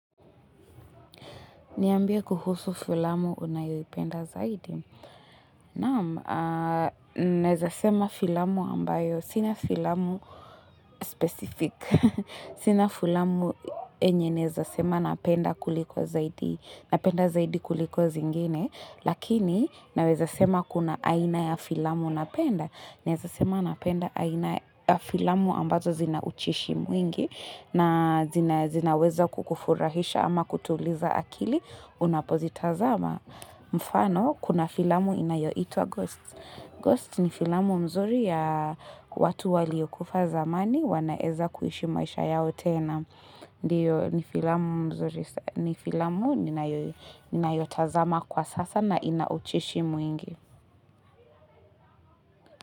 Niambie kuhusu filamu unayoipenda zaidi? Naam, naweza sema filamu ambayo. Sina filamu specific. Sina filamu enye neza sema napenda kuliko zaidi. Napenda zaidi kuliko zingine, lakini naweza sema kuna aina ya filamu napenda. Neza sema napenda aina ya filamu ambazo zinaucheshi mwingi. Na zinaweza kukufurahisha ama kutuliza akili, unapozitazama. Mfano, kuna filamu inayoitwa ghost. Ghost ni filamu mzuri ya watu waliokufa zamani, wanaeza kuishi maisha yao tena. Ndiyo, ni filamu mzuri, ni filamu, ninayotazama kwa sasa na inaucheshi mwingi.